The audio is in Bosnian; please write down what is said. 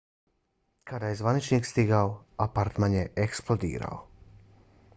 kada je zvaničnik stigao apartman je eksplodirao